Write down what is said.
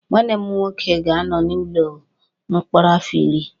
Nwanne m nwoke ga-anọ n'ụlọ mkpọrọ afọ iri